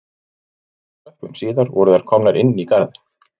Sex tröppum síðar voru þær komnar inn í garðinn